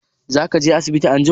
Za ka je asibiti anjima?